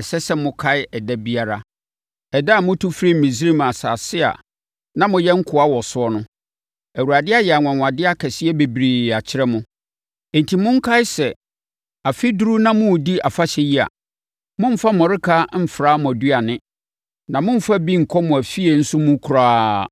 ɛsɛ sɛ mokae ɛda biara—ɛda a motu firii Misraim asase a na moyɛ nkoa wɔ so no. Awurade ayɛ anwanwadeɛ akɛseɛ bebree akyerɛ mo. Enti, monkae sɛ, sɛ afe duru na moredi afahyɛ yi a, mommfa mmɔreka mfra mo aduane; na mommfa bi nkɔ mo afie nso mu koraa.